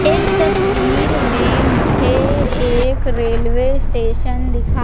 इस तस्वीर में मुझे एक रेलवे स्टेशन दिखा--